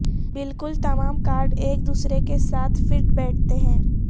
بالکل تمام کارڈ ایک دوسرے کے ساتھ فٹ بیٹھتے ہیں